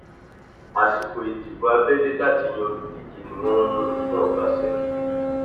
àsìkò ìdìbò abẹlé láti yan olùdíje ni wọn mú un fún ọbaṣẹkí